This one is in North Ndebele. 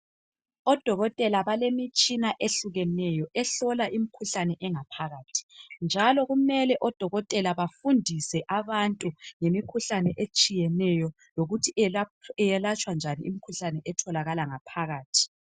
Odokotela balemitshina eyehlukeneyo ehlola imkhuhlane engaphakathi njalo kumele odokotela bafundise abantu ngemikhuhlane etshiyeneyo lokuthi yelatshwa njani imikhuhlane etholakala ngaphakathi.